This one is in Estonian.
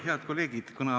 Head kolleegid!